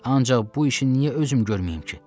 Ancaq bu işi niyə özüm görməyim ki?